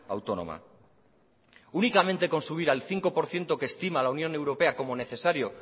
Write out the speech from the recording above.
autónoma únicamente con subir al cinco por ciento que estima la unión europea como necesario